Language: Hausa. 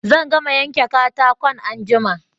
Zan gama yanke katakon anjima